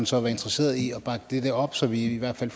så være interesseret i at bakke dette op så vi i hvert fald